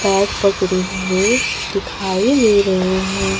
Bag पकड़े हुए दिखाई दे रहे हैं।